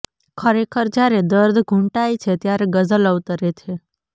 ખરેખર જ્યારે દર્દ ઘૂંટાય છે ત્યારે ગઝલ અવતરે છે